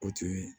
O tun ye